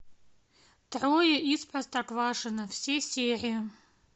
трое из простоквашино все серии